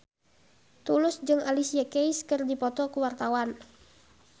Tulus jeung Alicia Keys keur dipoto ku wartawan